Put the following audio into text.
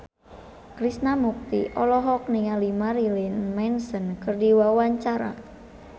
Krishna Mukti olohok ningali Marilyn Manson keur diwawancara